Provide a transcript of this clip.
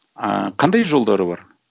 ыыы қандай жолдары бар